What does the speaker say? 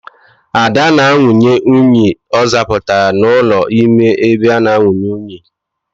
Ada na anwụnye unyi ọ zapụtara n'ụlọ n'ime ebe inwunye unyi.